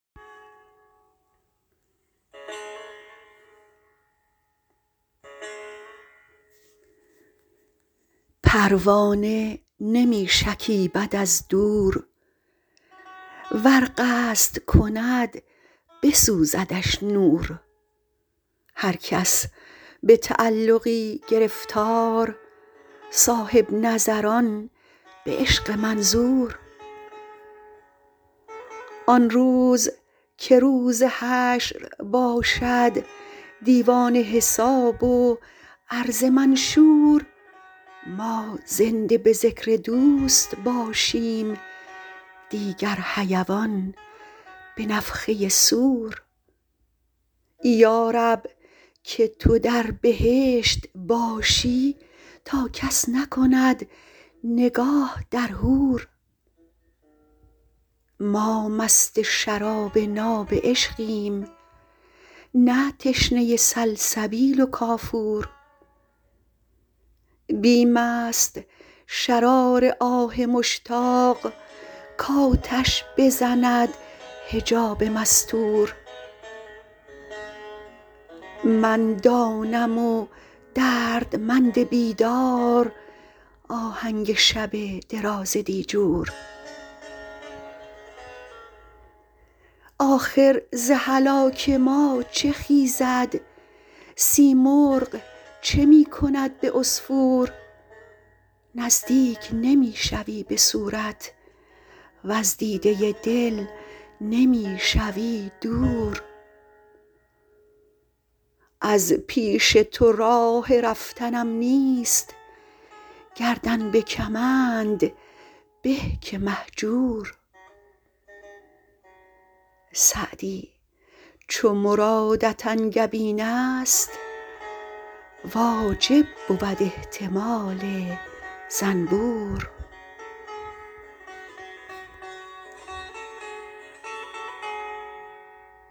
پروانه نمی شکیبد از دور ور قصد کند بسوزدش نور هر کس به تعلقی گرفتار صاحب نظران به عشق منظور آن روز که روز حشر باشد دیوان حساب و عرض منشور ما زنده به ذکر دوست باشیم دیگر حیوان به نفخه صور یا رب که تو در بهشت باشی تا کس نکند نگاه در حور ما مست شراب ناب عشقیم نه تشنه سلسبیل و کافور بیم است شرار آه مشتاق کآتش بزند حجاب مستور من دانم و دردمند بیدار آهنگ شب دراز دیجور آخر ز هلاک ما چه خیزد سیمرغ چه می کند به عصفور نزدیک نمی شوی به صورت وز دیده دل نمی شوی دور از پیش تو راه رفتنم نیست گردن به کمند به که مهجور سعدی چو مرادت انگبین است واجب بود احتمال زنبور